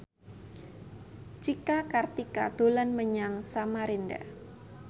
Cika Kartika dolan menyang Samarinda